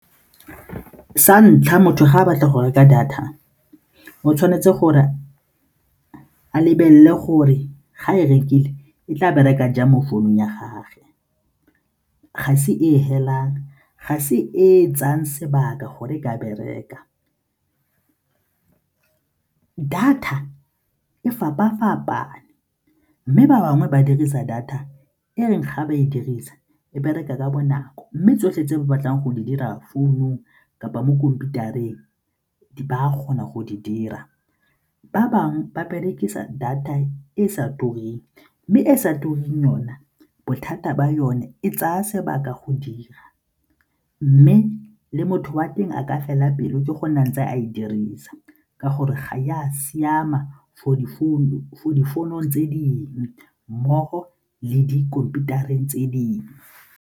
Sa ntlha, motho ga a batla go reka data o tshwanetse gore a lebelele gore ga e rekile e tla bereka jang mo founung ya gagwe, ga se e e felang, ga se e e tsayang sebaka gore ka bereka. Data e fapa-fapaneng mme ba bangwe ba dirisa data e reng ga ba e dirisa e bereka ka bonako mme tsotlhe tse ba batlang go di dira founung kapa mo khomphutareng ba kgona go di dira. Ba bangwe ba berekisa data e e sa tureng mme e e sa tureng yona bothata ba yone e tsaya sebaka go dira mme le motho wa teng a ka fela pele ke go nang tse a e dirisa ka gore ga a siama for difounung tse dingwe mmogo le dikhomputareng tse dingwe.